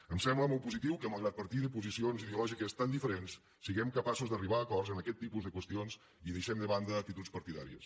em sembla molt positiu que malgrat partir de posicions ideològiques tan diferents siguem capaços d’arribar a acords en aquest tipus de qüestions i deixem de banda actituds partidàries